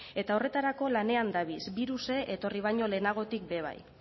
eta horretarako lanean dabiz biruse etorri baino lehenagotik be bai